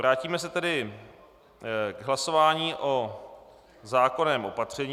Vrátíme se tedy k hlasování o zákonném opatření.